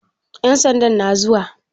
Ƴan sandan na zuwa?